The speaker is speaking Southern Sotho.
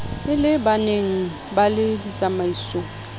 e le baneng le ditsamaiso